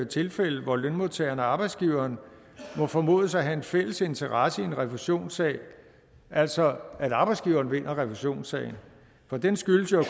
tilfælde hvor lønmodtageren og arbejdsgiveren må formodes at have en fælles interesse i en refusionssag altså at arbejdsgiveren vinder refusionssagen for den skyldes jo at